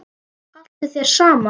Haltu þér saman